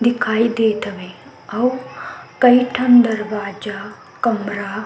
दिखाई देत हवे अऊ कई ठ दरवाजा कमरा --